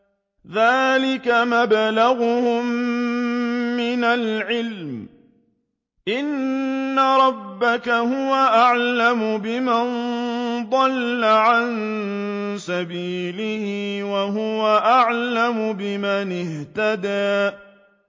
ذَٰلِكَ مَبْلَغُهُم مِّنَ الْعِلْمِ ۚ إِنَّ رَبَّكَ هُوَ أَعْلَمُ بِمَن ضَلَّ عَن سَبِيلِهِ وَهُوَ أَعْلَمُ بِمَنِ اهْتَدَىٰ